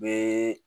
Bɛɛ